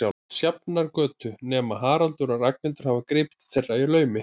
Sjafnargötu, nema Haraldur og Ragnhildur hafi gripið til þeirra í laumi.